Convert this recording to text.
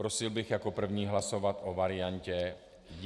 Prosil bych jako první hlasovat o variantě jeden rok.